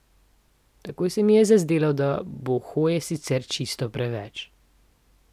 Takoj se mi je zazdelo, da bo hoje sicer čisto preveč.